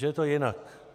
Že je to jinak.